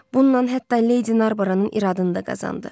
Bundan hətta Lady Narboranın iradını da qazandı.